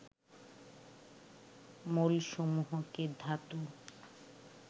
মৌলসমূহকে ধাতু